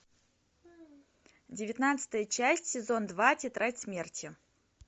девятнадцатая часть сезон два тетрадь смерти